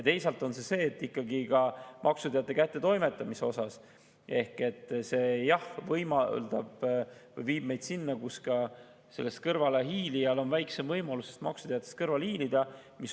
Teisalt on ka see, et ikkagi maksuteate kättetoimetamise see viib meid sinna, et maksudest kõrvale hiilijal on väiksem võimalus maksuteatest kõrvale hiilida.